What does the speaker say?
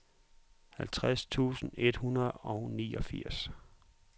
halvtreds tusind et hundrede og niogfirs